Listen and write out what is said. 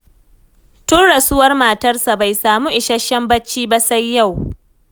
Tun rasuwar matarsa bai samu isasshen bacci ba sai yau